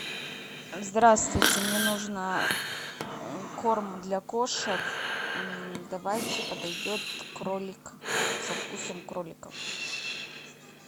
здравствуйте мне нужно корм для кошек давайте подойдет кролик со вкусом кролика